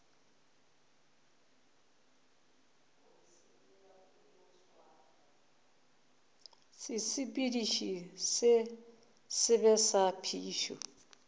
sesepediši se sebe sa phišo